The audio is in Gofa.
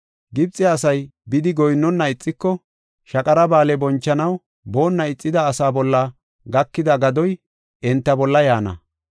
Gibxe asay bidi goyinnona ixiko, Shaqara Ba7aale bonchanaw boonna ixida asaa bolla gakida gadoy enta bolla yaana.